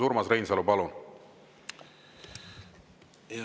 Urmas Reinsalu, palun!